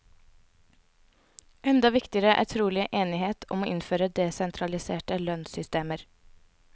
Enda viktigere er trolig enighet om å innføre desentraliserte lønnssystemer.